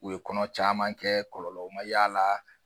U ye kɔnɔ caman kɛ kɔlɔlɔ ma y'a la